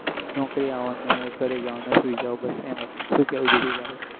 નોકરી આવોને ઘરે જવોને સુઈ જાવ બસ એમજ શું કેવું જ્યોતિ તારું